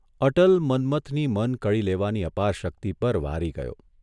અટલ મન્મથની મન કળી લેવાની અપાર શક્તિ પર વારી ગયો.